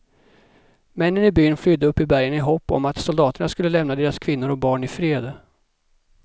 Männen i byn flydde upp i bergen i hopp om att soldaterna skulle lämna deras kvinnor och barn i fred.